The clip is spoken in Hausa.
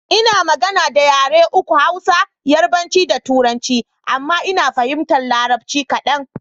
Ina magana da yare uku; Hausa, yarabanci da turanci. Amma Ina fahimtar larabci kaɗan.